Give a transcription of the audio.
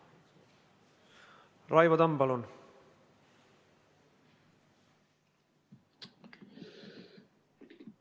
Raivo Tamm, palun!